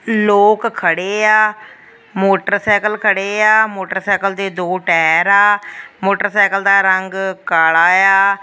ਲੋਕ ਖੜੇ ਆ। ਮੋਟਰਸਾਈਕਲ ਖੜੇ ਆ। ਮੋਟਰਸਾਈਕਲ ਦੇ ਦੋ ਟਾਇਰ ਆ। ਮੋਟਰਸਾਈਕਲ ਦਾ ਰੰਗ ਕਾਲਾ ਆ।